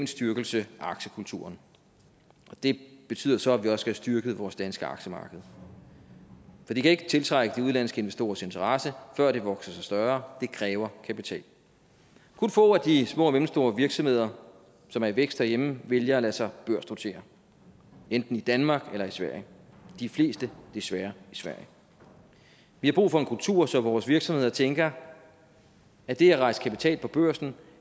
styrkelse af aktiekulturen det betyder så at vi også styrket vores danske aktiemarked for det kan ikke tiltrække de udenlandske investorers interesse før det har vokset sig større det kræver kapital kun få af de små og mellemstore virksomheder som er i vækst herhjemme vælger at lade sig børsnotere enten i danmark eller i sverige og de fleste desværre i sverige vi har brug for en kultur så vores virksomheder tænker at det at rejse kapital på børsen